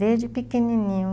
Desde pequenininho.